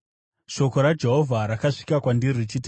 Shoko raJehovha rakasvika kwandiri, richiti,